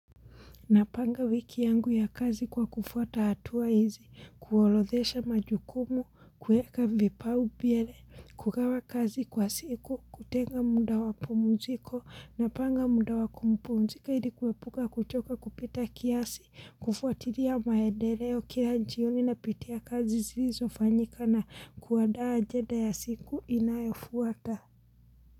Napanga wiki yangu ya kazi kwa kufuata hatua hizi, kuorodhesha majukumu, kueka vipaumbele, kukawa kazi kwa siku, kutenga muda wapumziko, napanga muda wakumpumzika ili kuepuka kuchoka kupita kiasi, kufuatilia maendeleo, kila jioni napitia kazi zilizofanyika na kuandaa ajenda ya siku inayofuata.